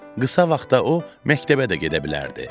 Qısa vaxtda o məktəbə də gedə bilərdi.